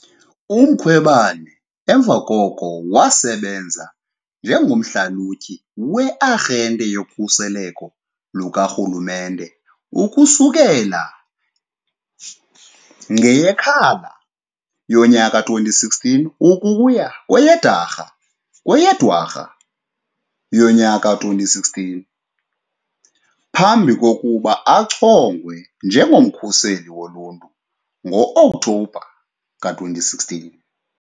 UMkhwebane emva koko wasebenza njengomhlalutyi we- Arhente yoKhuseleko lukaRhulumente ukusukela ngeyeKhala yowama-2016 ukuya kweyeDarha kweyeDwarha yonyaka-2016 phambi kokuba achongwe njengoMkhuseli Woluntu ngo-Okthobha ka-2016.